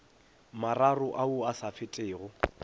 mararo ao a sa fetego